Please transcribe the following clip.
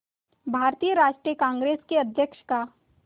भारतीय राष्ट्रीय कांग्रेस के अध्यक्ष का